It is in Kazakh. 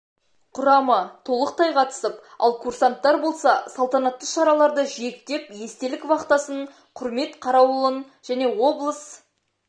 құрамы толықтай қатысып ал курсанттар болса салтанатты шараларды жиектеп естелік вахтасын құрсмет қарауылын және облыс